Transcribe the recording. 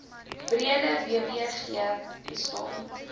breede wbg bestaan